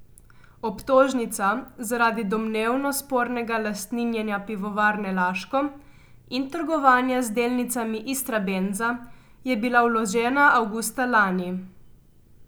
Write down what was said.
Obtožnica zaradi domnevno spornega lastninjenja Pivovarne Laško in trgovanja z delnicami Istrabenza je bila vložena avgusta lani.